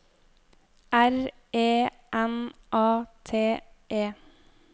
R E N A T E